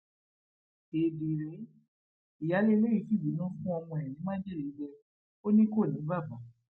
éèdì rèé ìyáálé ilé yìí fìbínú fún ọmọ ẹ ní májèlé jẹ ó ní kó ní bàbá